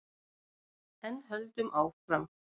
En höldum áfram: